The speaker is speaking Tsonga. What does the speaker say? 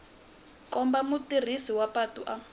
komba mutirhisi wa patu a